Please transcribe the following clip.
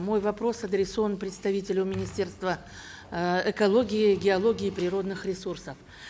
мой вопрос адресован представителю министерства э экологии геологии и природных ресурсов